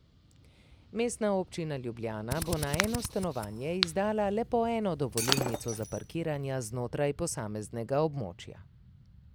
Mestna občina Ljubljana bo na eno stanovanje izdala le po eno dovolilnico za parkiranje znotraj posameznega območja.